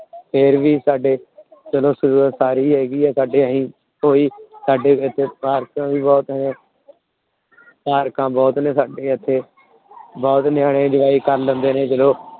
ਹੋਰ ਵੀ ਸਾਡੇ ਹੇਗੀ ਸਾਡੇ ਕੋਈ ਸਾਡੇ ਪਾਰਕ ਵੀ ਬਹੁਤ ਐ। ਪਾਰਕਾਂ ਬਹੁਤ ਨੇ ਸਾਡੇ ਇੱਥੇ। ਬਹੁਤ ਨਿਆਣੇ Enjoy ਕਰ ਲੈਂਦੇ ਨੇ ਜਦੋ